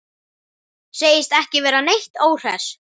Segist ekki vera neitt óhress.